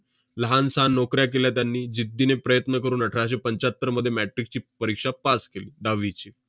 लहानसान नोकऱ्या केल्या त्यांनी. जिद्दीने प्रयत्न करून अठराशे पंच्याहत्तरमध्ये metric ची परीक्षा pass केली दहावीची.